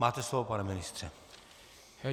Máte slovo, pane ministře.